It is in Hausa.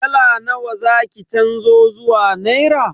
Dala nawa za ki canzo zuwa naira?